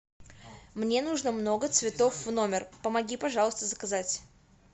мне нужно много цветов в номер помоги пожалуйста заказать